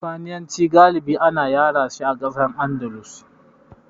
Sifaniyanci galibi ana yarashi a ƙasar Andalus.